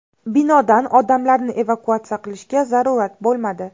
Binodan odamlarni evakuatsiya qilishga zarurat bo‘lmadi.